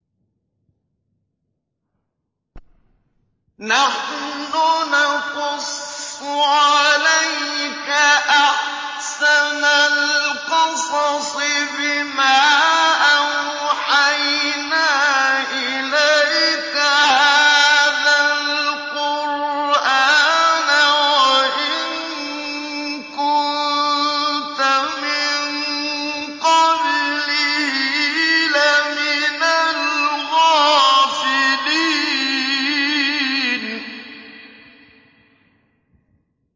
نَحْنُ نَقُصُّ عَلَيْكَ أَحْسَنَ الْقَصَصِ بِمَا أَوْحَيْنَا إِلَيْكَ هَٰذَا الْقُرْآنَ وَإِن كُنتَ مِن قَبْلِهِ لَمِنَ الْغَافِلِينَ